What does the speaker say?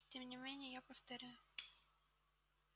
и тем не менее я повторю